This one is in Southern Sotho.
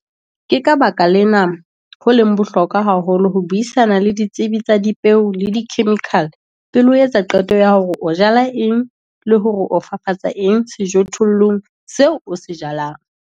Ke ka baka lena ho leng bohlokwa haholo ho buisana le ditsebi tsa dipeo le dikhemikhale pele o etsa qeto ya hore o jala eng le hore o fafatsa eng sejothollong seo o se jalang.